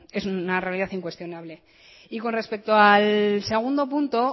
es una realidad incuestionable y con respecto al segundo punto